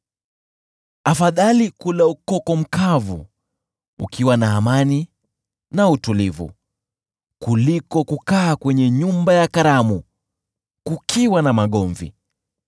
Afadhali kula ukoko mkavu ukiwa na amani na utulivu kuliko kukaa kwenye nyumba ya karamu kukiwa na magomvi.